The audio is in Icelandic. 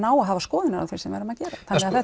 á að hafa skoðanir á því sem við erum að gera